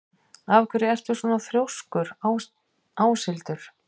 Af hverju ertu svona þrjóskur, Áshildur?